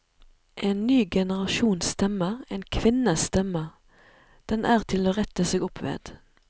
En ny generasjons stemme, en kvinnes stemme, den er til å rette seg opp ved.